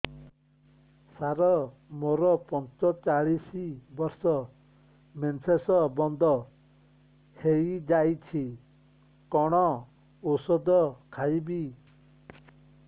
ସାର ମୋର ପଞ୍ଚଚାଳିଶି ବର୍ଷ ମେନ୍ସେସ ବନ୍ଦ ହେଇଯାଇଛି କଣ ଓଷଦ ଖାଇବି